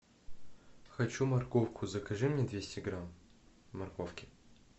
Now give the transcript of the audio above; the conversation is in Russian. хочу морковку закажи мне двести грамм морковки